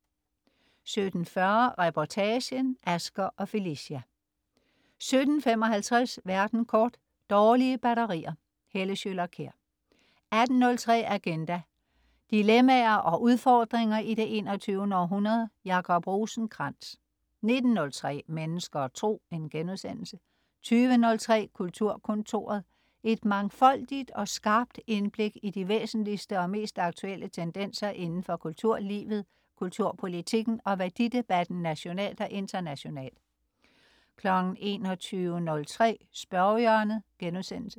17.40 Reportagen: Asger og Felicja 17.55 Verden kort. Dårlige batterier. Helle Schøler Kjær 18.03 Agenda. Dilemmaer og udfordringer i det 21. århundrede. Jacob Rosenkrands 19.03 Mennesker og Tro* 20.03 Kulturkontoret. Et mangfoldigt og skarpt indblik i de væsentligste og mest aktuelle tendenser indenfor kulturlivet, kulturpolitikken og værdidebatten nationalt og internationalt 21.03 Spørgehjørnet*